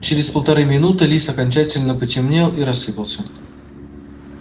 через полторы минуты лис окончательно потемнел и рассыпался